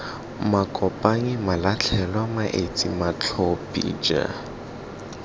makopanyi malatlhelwa maetsi matlhophi j